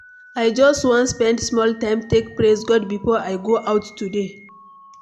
I just wan spend small time take praise God before I go out today.